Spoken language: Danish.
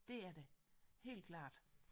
Det er det helt klart